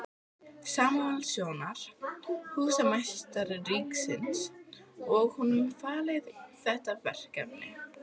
Samúelssonar, húsameistara ríkisins, og honum falið þetta verkefni.